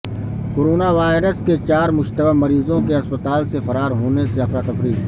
corona virus کے چار مشتبہ مریضوں کے اسپتال سے فرار ہونے سے افراتفری